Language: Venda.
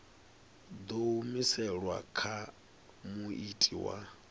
ḓo humiselwa kha muiti wa